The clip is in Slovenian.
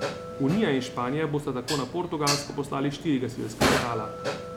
Unija in Španija bosta tako na Portugalsko poslali štiri gasilska letala.